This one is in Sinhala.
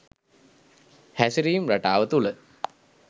හැසිරීම් රටාව තුළ